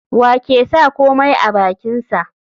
Wa ke sa komai a bakinsa?